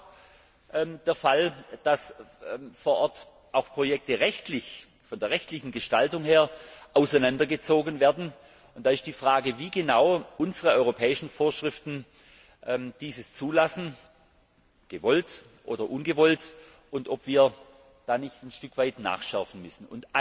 Es ist auch der Fall, dass vor Ort auch Projekte von der rechtlichen Gestaltung her auseinandergezogen werden, und da stellt sich die Frage, wie genau unsere europäischen Vorschriften dieses zulassen gewollt oder ungewollt und ob wir da nicht ein Stück weit nachschärfen müssen.